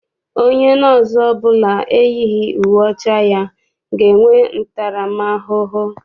Onye nọọsụ ọbụla eyighị uwe ọcha ya ga-enwe ntaram ahụhụ.